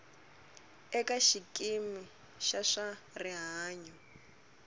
eka xikimi xa swa rihanyo